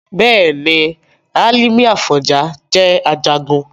Bẹ́ẹ̀ni, Hálímì Àfọ̀njá jẹ́ Ajagun